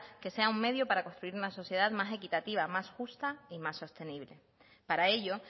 que sea un medio para construir una sociedad más equitativa más justa y más sostenible para ello